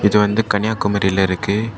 இது வந்து கன்யாகுமரில இருக்கு.